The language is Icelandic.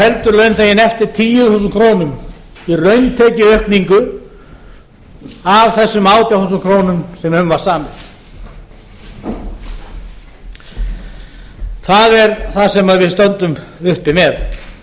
heldur launþeginn eftir tíu þúsund krónur í rauntekjuaukningu af þessum átján þúsund krónur sem um var samið það er það sem við stöndum uppi með